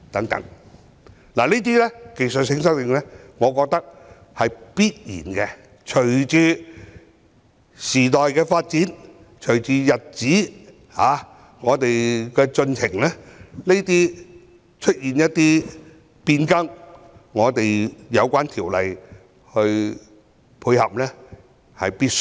我覺得這些技術性修訂是必要的，隨着時代發展、日子的推進，對有關條例作出變更來配合是必需的。